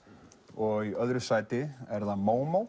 og í öðru sæti er það